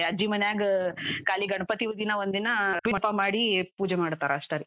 ಇಲ್ಲೆ ಅಜ್ಜಿ ಮನೆಯಾಗ್, ಖಾಲಿ ಗಣಪತಿ ದಿನ ಒಂದಿನ ಹಬ್ಬ ಮಾಡಿ, ಪೂಜೆ ಮಾಡ್ತಾರಾ ಅಷ್ಟರಿ.